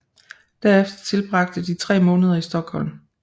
Derefter tilbragte de tre måneder i Stockholm